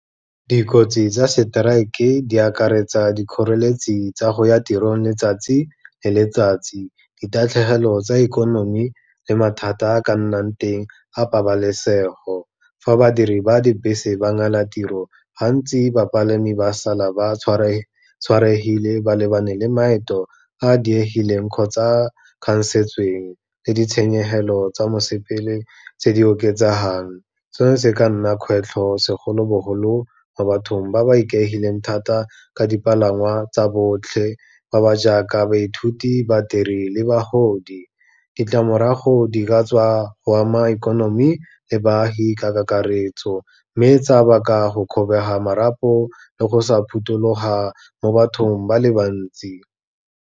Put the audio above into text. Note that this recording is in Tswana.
Dikotsi tsa strike-e di akaretsa dikgoreletsi tsa go ya tirong letsatsi le letsatsi, ditatlhegelo tsa ikonomi le mathata a ka nnang teng a pabalesego. Fa badiri ba dibese ba ngala tiro, gantsi bapalami ba sala ba tshwaregile, ba lebane le maeto a diegileng kgotsa a khansetsweng le ditshenyegelo tsa mosepele tse di oketsegang, seno se ka nna kgwetlho segolobogolo mo bathong ba ba ikaegileng thata ka dipalangwa tsa botlhe, ba ba jaaka baithuti, badiri le bagodi. Ditlamorago di katswa go ama ikonomi, le baagi ka kakaretso, mme tsa baka go kgobega marapo le go sa phuthuloga mo bathong ba le bantsi.